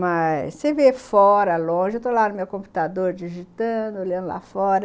Mas você ver fora, longe... eu estou lá no meu computador digitando, olhando lá fora.